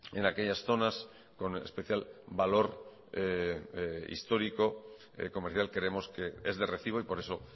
en aquellas zonas con especial valor histórico y comercial creemos que es de recibo y por eso